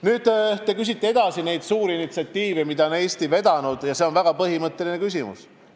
Nüüd, te küsite suurte initsiatiivide kohta, mida on Eesti vedanud, ja see on väga põhimõtteline küsimus.